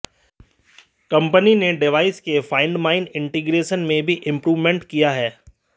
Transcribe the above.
company ने device के find my integration में भी इंप्रूवमेंट किया है